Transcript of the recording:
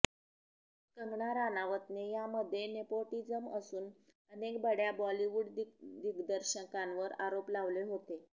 कंगना राणावतने यामध्ये नेपोटीजम असून अनेक बड्या बॉलिवूड दिग्दर्शकांवर आरोप लावले होते